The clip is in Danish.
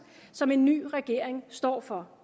som en ny regering står for